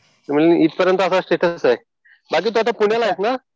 म्हणजे इथपर्यंत असं स्टेटस आहे. बाकी तू आता पुण्याला आहेस ना?